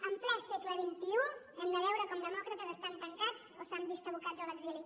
en ple segle xxi hem de veure com demòcrates estan tancats o s’han vist abocats a l’exili